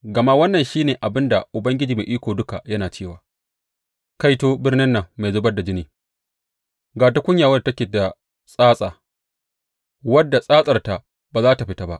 Gama wannan shi ne abin da Ubangiji Mai Iko Duka yana cewa, Kaito birnin nan mai zubar da jini, ga tukunya wadda take da tsatsa, wadda tsatsarta ba za tă fita ba!